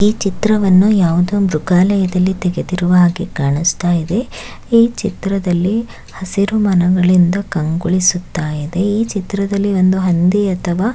ಈ ಚಿತ್ರವನ್ನು ಯಾವುದೊ ಒಂದು ಮೃಗಾಲಯದಲ್ಲಿ ತೆಗೆದಿರುವ ಹಾಗೆ ಕಾಣಿಸುತ್ತಾ ಇದೆ ಈ ಚಿತ್ರದಲ್ಲಿ ಹಸಿರು ಮರಗಳಿಂದ ಕಂಗೊಳಿಸುತ್ತಾ ಇದೆ ಈ ಚಿತ್ರದಲ್ಲಿ ಒಂದು ಹಂದಿ ಅಥವಾ--